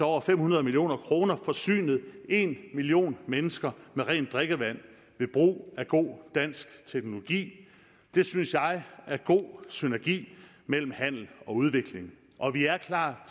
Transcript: over fem hundrede million kroner forsynet en million mennesker med rent drikkevand ved brug af god dansk teknologi det synes jeg er god synergi mellem handel og udvikling og vi er klar